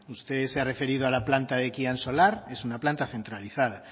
usted se ha referido a la planta de ekian solar es una planta centralizada